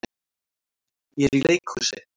Ég er í leikhúsi.